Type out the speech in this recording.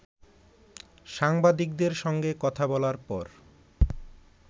সাংবাদিকদের সঙ্গে কথা বলার পর